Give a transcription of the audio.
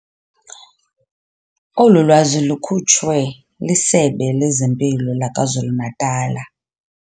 Olu lwazi lukhutshwe liSebe lezeMpilo laKwaZulu-Natala.